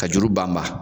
Ka juru ban ma